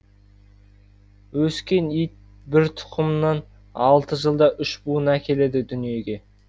өскен ит бір тұқымнан алты жылда үш буын әкеледі дүниеге